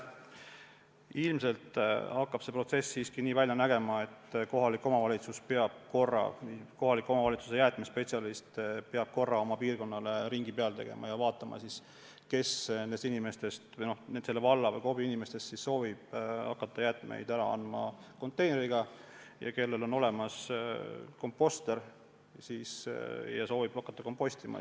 Ilmselt hakkab see protsess siiski nii välja nägema, et kohaliku omavalitsuse jäätmespetsialist peab korra oma piirkonnale ringi peale tegema ja vaatama, kes selle KOV-i inimestest soovib hakata jäätmeid ära andma konteinerist ja kellel on olemas komposter või kes soovib muul moel ise kompostida.